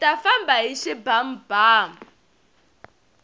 hita famba hi xibamubamu